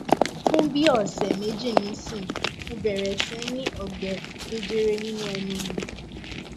fun bi ose meji nisin mobere sini ogbe jejere ninu enu mi